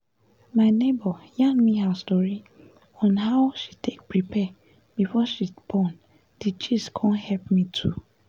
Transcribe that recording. my neighbor yarn me her story on how she take prepare before she born d gist con help me too